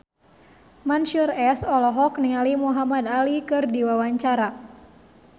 Mansyur S olohok ningali Muhamad Ali keur diwawancara